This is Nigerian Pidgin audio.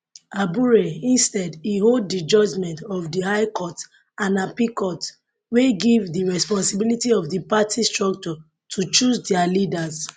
abure instead e hold di judgements of di high courts and appeal court wey give di responsibility of di party structures to choose dia leaders